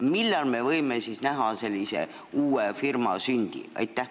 Millal me võime näha uue firma sündi?